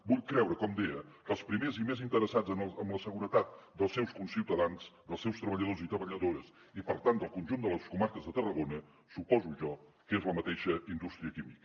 vull creure com deia que els primers i més interessats en la seguretat dels seus conciutadans dels seus treballadors i treballadores i per tant del conjunt de les comarques de tarragona suposo jo que és la mateixa indústria química